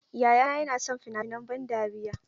Yayana yana son fina-finan ban dariya.